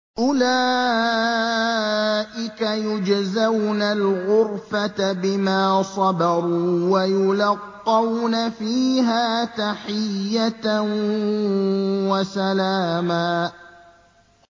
أُولَٰئِكَ يُجْزَوْنَ الْغُرْفَةَ بِمَا صَبَرُوا وَيُلَقَّوْنَ فِيهَا تَحِيَّةً وَسَلَامًا